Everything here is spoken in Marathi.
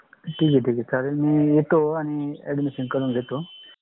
ठीक है ठीक है. चालेल मी येतो admmission करूंन घेतो.